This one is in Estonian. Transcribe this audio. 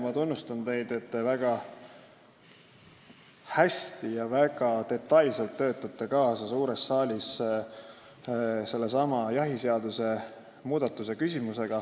Mul on hea meel, et te väga hästi ja väga detailselt töötate suures saalis kaasa sellesama jahiseaduse muudatuse küsimustes.